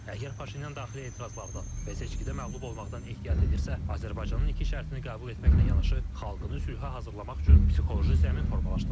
Əgər Paşinyan daxili etirazlardan və seçkidə məğlub olmaqdan ehtiyat edirsə, Azərbaycanın iki şərtini qəbul etməklə yanaşı, xalqını sülhə hazırlamaq üçün psixoloji zəmin formalaşdırmalıdır.